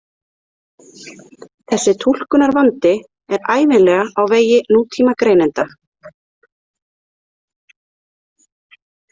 Þessi túlkunarvandi er ævinlega á vegi nútímagreinanda.